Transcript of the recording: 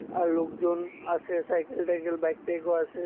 আর লোকজন আছে সাইকেল টাইকেল বাইক টাইকও আছে।